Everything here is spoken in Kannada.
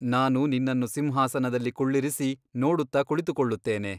ನಾನು ನಿನ್ನನ್ನು ಸಿಂಹಾಸನದಲ್ಲಿ ಕುಳ್ಳಿರಿಸಿ ನೋಡುತ್ತ ಕುಳಿತುಕೊಳ್ಳುತ್ತೇನೆ.